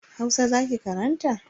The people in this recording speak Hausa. Hausa za ki karanta.